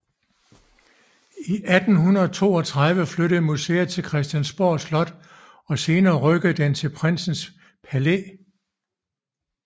I 1832 flyttede museet til Christiansborg Slot og senere rykkede den til Prinsens Palæ